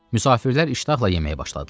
Müsafirlər iştahla yeməyə başladılar.